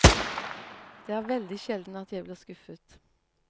Det er veldig sjelden at jeg blir skuffet.